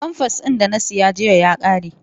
Famfas din da na saya jiya ya ƙare.